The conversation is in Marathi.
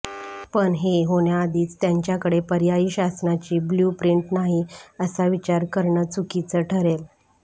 पण हे होण्याआधीच त्यांच्याकडे पर्यायी शासनाची ब्लू प्रिंट नाही असा विचार करणं चुकीचं ठरेल